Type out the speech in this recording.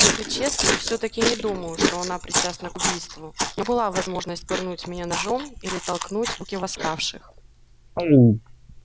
если честно то всё-таки не думаю что она причастна к убийству у нее была возможность пырнуть меня ножом или толкнуть в руки восставших